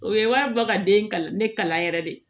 O ye wari bɔ ka den kala ne kalan yɛrɛ de